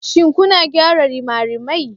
Shin kuna gyara rimarimai?